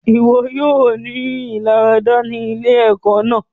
Iwọ óò ní ilarada ní ilé-ìwosan náà